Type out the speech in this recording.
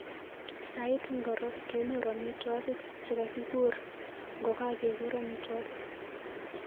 Sait ngiro kenyoru amitwogik chegagiguur ngokageguur amitwogik